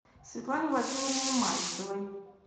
светлане владимировне мальцевой